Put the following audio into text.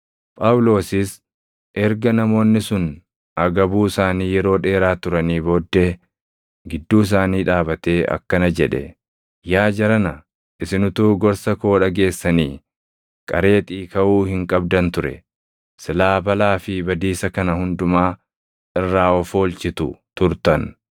Phaawulosis erga namoonni sun agabuu isaanii yeroo dheeraa turanii booddee gidduu isaanii dhaabatee akkana jedhe; “Yaa jarana, isin utuu gorsa koo dhageessanii Qareexii kaʼuu hin qabdan ture; silaa balaa fi badiisa kana hundumaa irraa of oolchitu turtan.